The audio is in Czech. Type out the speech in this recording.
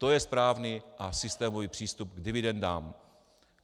To je správný a systémový přístup k dividendám.